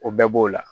O bɛɛ b'o la